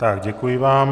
Tak děkuji vám.